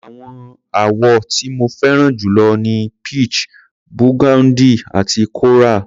Àwọn àwọ̀ tí mo fẹ́ràn jù lọ ni peach, burgundy àti coral.